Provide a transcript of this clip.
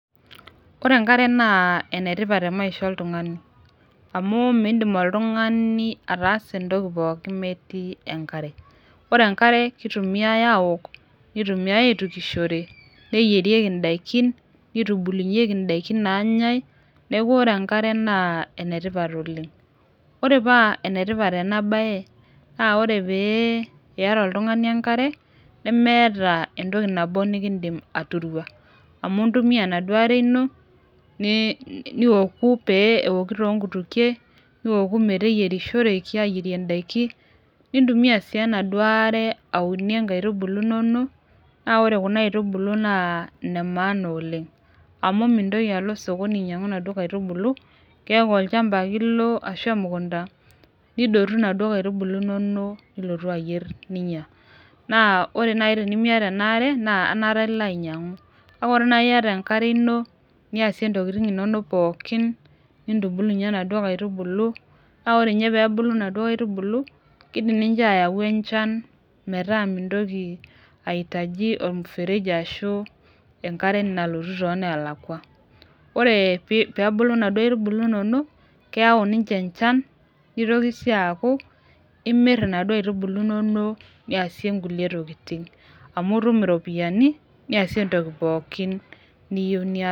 Ore enkare naa enetipat te maisha oltung'ani amu mindim oltung'ani ataas entoki pookin metii enkare ore enkare kitumiae awok nitumiae aitukishore neyierieki indaikin nitubulunyieki indaikin nanyae neku ore enkare naa enetipat oleng ore paa enetipat ena baye naa ore pee iyata oltung'ani enkare nemeeta entoki nabo nikindim aturua amu intumia enaduo are ino ne niwoku pee ewoki tonkutukie niwoku pee eyierishoreki ayierie indaiki nintumia sii enaduo are aunie inkaitubulu inonok naa ore kuna aitubulu naa ine maana oleng amu mintoki alo sokoni ainyiang'u inadua aitubulu keeku olchamba ake ilo ashu emukunta nidotu inaduo kaitubulu inonok nilotu ayierr ninyia naa ore naaji tenimiata ena are naa enaata ilo ainyiang'u kake ore naai iyata enkare ino niasie intokitin inonok pookin nintubulunyie inaduo kaitubulu naore inye pebulu inaduo kaitubulu naa kidim ninche ayau enchan metaa mintoki aitaji ormfereji ashu enkare nalotu tonelakua ore pii pebulu indauo aitubulu inonok keyau ninche enchan nitoki sii aaku imirr inaduo aitubulu inonok niasie nkulie tokiting amu itum iropiyiani niasie entoki pookin niyieu nias.